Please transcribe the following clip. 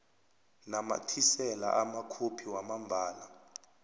namathisela amakhophi wamambala